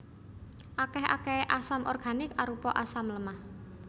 Akèh akèhé asam organik arupa asam lemah